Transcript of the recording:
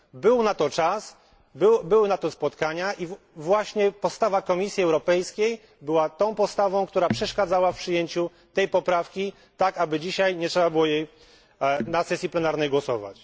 Był na to czas, były na to spotkania i właśnie postawa Komisji Europejskiej była tą postawą, która przeszkadzała w przyjęciu tej poprawki, wskutek czego dzisiaj trzeba nad nią na sesji plenarnej głosować.